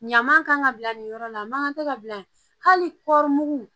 Ɲama kan ka bila nin yɔrɔ la a man kan tɛ ka bila yen hali kɔɔri mugu